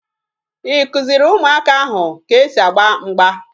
Ị kụziri ụmụaka ahụ ka e si agba mgba?